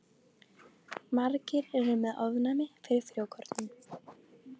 Margir eru með ofnæmi fyrir frjókornum.